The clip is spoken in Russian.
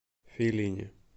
фелини